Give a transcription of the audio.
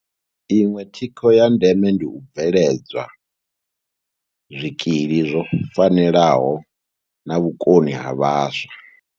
Iṅwe thikho ya ndeme ndi u bveledzwa zwikili zwo fanelaho na vhukoni ha vhaswa.